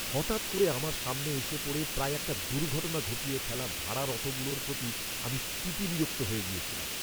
হঠাৎ করে আমার সামনে এসে পড়ে প্রায় একটা দুর্ঘটনা ঘটিয়ে ফেলা ভাড়ার অটোগুলোর প্রতি আমি তিতবিরক্ত হয়ে গিয়েছিলাম।